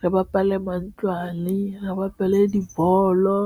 re bapala mantlwane, re bapale dibolo.